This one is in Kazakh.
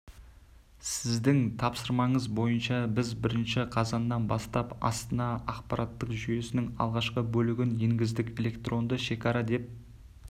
сіздің тапсырмаңыз бойынша біз бірінші қазаннан бастап астана ақпараттық жүйесінің алғашқы бөлігін енгіздік электронды шекара деп